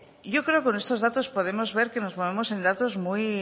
yo creo que con estos datos podemos ver que nos movemos en datos muy